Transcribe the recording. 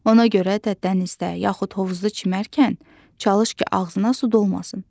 Ona görə də dənizdə, yaxud hovuzda çimərkən çalış ki, ağzına su dolmasın.